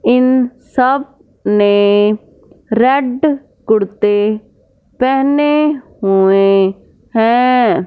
इन सब ने रेड कुर्ते पहने हुए हैं।